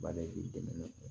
Ba de b'i dɛmɛ